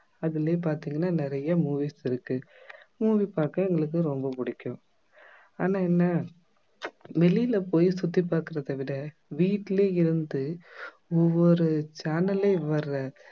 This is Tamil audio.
அதுலயே பாத்தீங்கன்னா நிறைய movies இருக்கு movie பார்க்க எங்களுக்கு ரொம்ப புடிக்கும் ஆனா என்ன வெளியில போய் சுத்தி பார்க்கிறதை விட வீட்டிலே இருந்து ஒவ்வொரு channel லயே வர